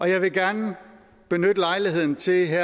jeg vil gerne benytte lejligheden til her